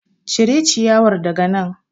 Cire ciyawar daga nan.